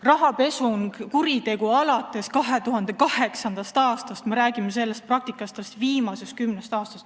Rahapesu on kuritegu alates 2008. aastast, me räägime sellest praktikast alles viimased kümme aastat.